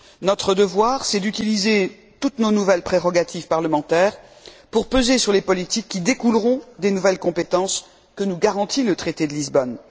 Notre devoir, c'est d'utiliser toutes nos nouvelles prérogatives parlementaires pour peser sur les politiques qui découleront des nouvelles compétences que nous garantit le traité de Lisbonne.